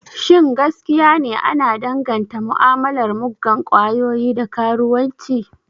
Shin gaskiya ne ana danganta mu'amalar muggan kwayoyi da karuwanci?